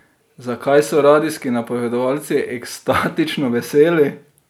Zakaj so radijski napovedovalci ekstatično veseli?